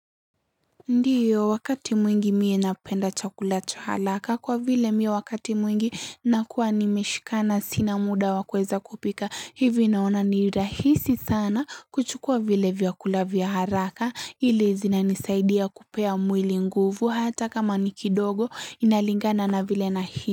Ndiyo wakati mwingi mie napenda chakula cha haraka kwa vile mie wakati mwingi nakuwa nimeshikana sina muda wa kuweza kupika hivi naona ni rahisi sana kuchukua vile vyakula vya haraka ile zinanisaidia kupea mwili nguvu hata kama ni kidogo inalingana na vile na hii.